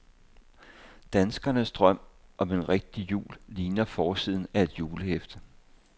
Danskernes drøm om en rigtig jul ligner forsiden af et julehæfte.